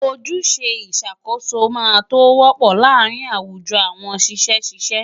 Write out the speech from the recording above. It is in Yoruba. Ojúṣe ìṣàkóso máa tó wọ́pọ̀ láàárín àwùjọ àwọn ṣiṣẹ́ ṣíṣe.